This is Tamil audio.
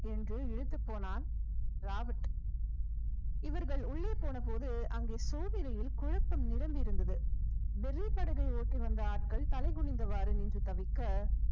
என்று இழுத்துப் போனான் ராபர்ட் இவர்கள் உள்ளே போனபோது அங்கே சோதனையில் குழப்பம் நிரம்பி இருந்தது வெள்ளிப்படகை ஏற்றி வந்த ஆட்கள் தலை குனிந்தவாறு நின்று தவிக்க